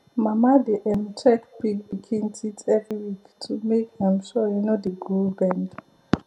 mama dey um check pig pikin teeth every week to make um sure e no dey grow bend